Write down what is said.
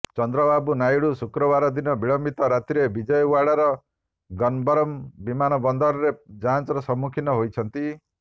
ଚନ୍ଦ୍ରବାବୁ ନାଇଡୁ ଶୁକ୍ରବାର ଦିନ ବିଳମ୍ବିତ ରାତ୍ରିରେ ବିଜୟଓ୍ବାଡାର ଗନ୍ନବରମ୍ ବିମାନ ବନ୍ଦରରେ ଯାଞ୍ଚର ସମ୍ମୁଖୀନ ହୋଇଛନ୍ତି